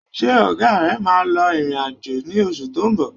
Ṣé ọ̀gá rẹ̀ máa lọ ìrìn-àjò ní oṣù tó ń bọ̀?